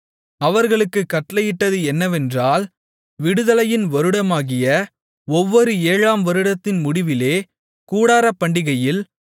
அவர்களுக்குக் கட்டளையிட்டது என்னவென்றால் விடுதலையின் வருடமாகிய ஒவ்வொரு ஏழாம் வருடத்தின் முடிவிலே கூடாரப்பண்டிகையில்